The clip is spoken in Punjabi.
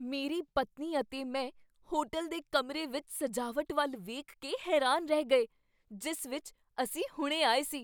ਮੇਰੀ ਪਤਨੀ ਅਤੇ ਮੈਂ ਹੋਟਲ ਦੇ ਕਮਰੇ ਵਿੱਚ ਸਜਾਵਟ ਵੱਲ ਵੇਖ ਕੇ ਹੈਰਾਨ ਰਹਿ ਗਏ ਜਿਸ ਵਿੱਚ ਅਸੀਂ ਹੁਣੇ ਆਏ ਸੀ।